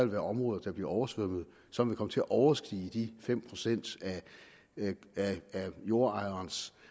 være områder der bliver oversvømmet og som vil komme til at overstige de fem procent af jordejerens